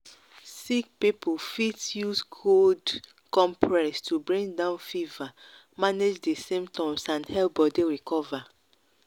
sick people fit use cold fit use cold compress to bring down fever manage di symptoms and help body recover